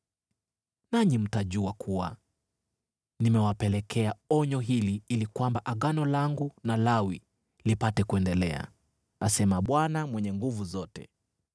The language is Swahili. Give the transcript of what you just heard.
Nanyi mtajua kuwa nimewapelekea onyo hili ili kwamba Agano langu na Lawi lipate kuendelea,” asema Bwana Mwenye Nguvu Zote.